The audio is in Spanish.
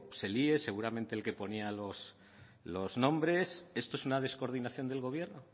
se líe seguramente el que ponía los nombres esto es una descoordinación del gobierno